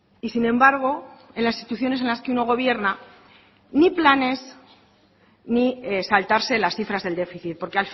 y sin embargo en las instituciones en las que uno gobierna ni planes ni saltarse las cifras del déficit porque